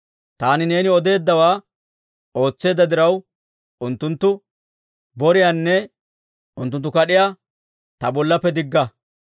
Taani neeni odeeddawaa ootseedda diraw, unttunttu boriyaanne unttunttu kad'iyaa ta bollaappe digga.